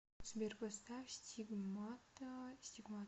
сбер поставь стигмата стигмата